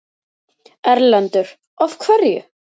Erlendur: Af hverju?